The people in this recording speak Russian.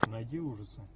найди ужасы